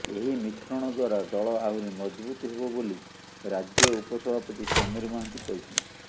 ଏହି ମିଶ୍ରଣ ଦ୍ବାରା ଦଳ ଆହୁରି ମଜବୁତ ହେବ ବୋଲି ରାଜ୍ୟ ଉପସଭାପତି ସମୀର ମହାନ୍ତି କହିଛନ୍ତି